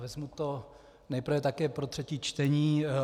Vezmu to nejprve také pro třetí čtení.